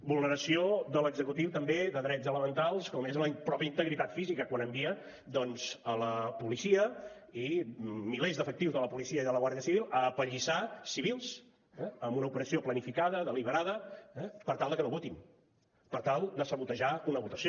vulneració de l’executiu també de drets elementals com és la pròpia integritat física quan envia doncs la policia i milers d’efectius de la policia i de la guàrdia civil a apallissar civils eh amb una operació planificada deliberada per tal que no votin per tal de sabotejar una votació